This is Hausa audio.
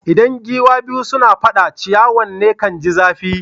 Idan giwa biyu suna fada, ciyawan ne kan ji zafi.